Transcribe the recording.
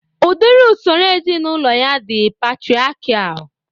Udiri usoro ezinaụlọ ya dị patriakial